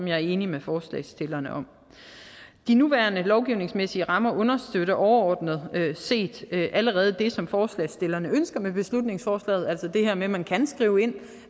jeg enig med forslagsstillerne de nuværende lovgivningsmæssige rammer understøtter overordnet set allerede det som forslagsstillerne ønsker med beslutningsforslaget altså det her med at man kan skrive ind